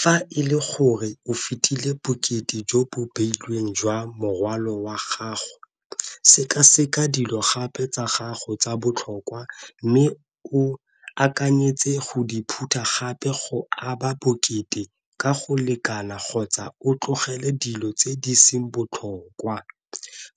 Fa e le gore o fetile bokete jo bo beilweng jwa morwalo wa gago seka-seka dilo gape tsa gago tsa botlhokwa, mme o akanyetse go di phutha gape go aba bokete ka go lekana kgotsa o tlogele dilo tse di seng botlhokwa.